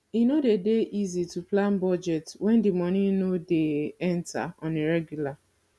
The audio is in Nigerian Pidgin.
e no de dey easy to plan budget when di money no dey enter on a regular